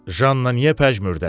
Janna niyə pəjmürdədir?